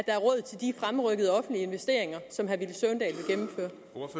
er råd til de fremrykkede offentlige investeringer som